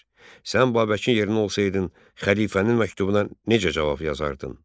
Sən Babəkin yerində olsaydın, xəlifənin məktubuna necə cavab yazardın?